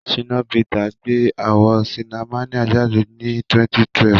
Ṣínà Pítà gbé àwò ṣinamáníà jáde ní 2012.